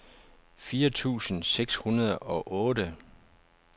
fire tusind seks hundrede og otte